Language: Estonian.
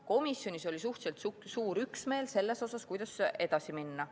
Komisjonis oli suhteliselt suur üksmeel selles suhtes, kuidas edasi minna.